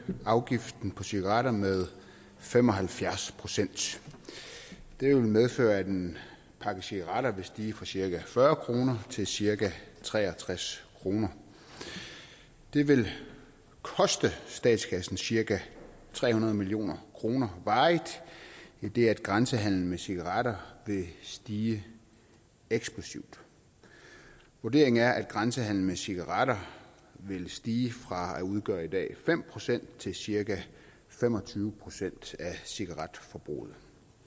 afgiften på cigaretter med fem og halvfjerds procent det vil medføre at en pakke cigaretter vil stige fra cirka fyrre kroner til cirka tre og tres kroner det vil koste statskassen cirka tre hundrede million kroner varigt idet grænsehandelen med cigaretter vil stige eksplosivt vurderingen er at grænsehandelen med cigaretter vil stige fra at udgøre i dag fem procent til cirka fem og tyve procent af cigaretforbruget